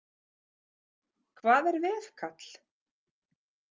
Hvað er veðkall?